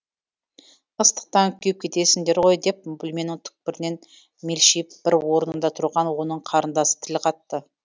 ыстықтан күйіп кетесіңдер ғой деп бөлменің түкпірінен мелшиіп бір орнында тұрған оның қарындасы тіл қатты